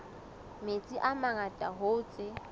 metsi a mangata hoo tse